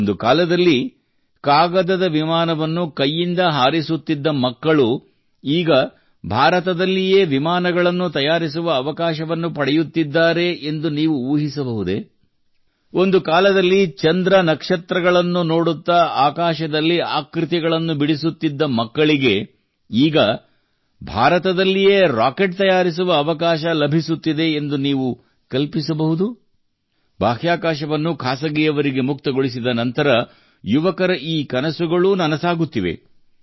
ಒಂದು ಕಾಲದಲ್ಲಿ ಕಾಗದದ ವಿಮಾನವನ್ನು ಕೈಯಿಂದ ಹಾರಿಸುತ್ತಿದ್ದ ಮಕ್ಕಳು ಈಗ ಭಾರತದಲ್ಲಿಯೇ ವಿಮಾನಗಳನ್ನು ತಯಾರಿಸುವ ಅವಕಾಶವನ್ನು ಪಡೆಯುತ್ತಿದ್ದಾರೆ ಎಂದು ನೀವು ಊಹಿಸಬಹುದೇ ಒಂದು ಕಾಲದಲ್ಲಿ ಚಂದ್ರ ನಕ್ಷತ್ರಗಳನ್ನು ನೋಡುತ್ತಾ ಆಕಾಶದಲ್ಲಿ ಆಕೃತಿಗಳನ್ನು ಬಿಡಿಸುತ್ತಿದ್ದ ಮಕ್ಕಳಿಗೆ ಈಗ ಭಾರತದಲ್ಲಿಯೇ ರಾಕೆಟ್ ತಯಾರಿಸುವ ಅವಕಾಶ ಲಭಿಸುತ್ತಿದೆ ಎಂದು ನೀವು ಕಲ್ಪಿಸಬಹುದು ಬಾಹ್ಯಾಕಾಶವನ್ನು ಖಾಸಗಿಯವರಿಗೆ ಮುಕ್ತಗೊಳಿಸಿದ ನಂತರ ಯುವಕರ ಈ ಕನಸುಗಳೂ ನನಸಾಗುತ್ತಿವೆ